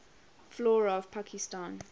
flora of pakistan